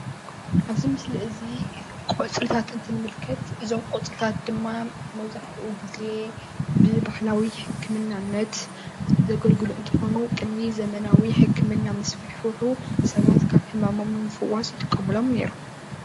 እዚ ምስሊ እዚ ቆፅልታት እንትንምልከት እዞም ቆፅልታት ድማ መብዛሕትኡ ግዜ ብባህላዊ ሕክምናነት ዘገልግሉ እንትኮኑ ቅድሚ ዘመናውነት ሕክምና ምስፍሕፍሑ ሰባት ካብ ሕማሞም ንምፍዋስ ይጥቀምሎም ኔሮም፡፡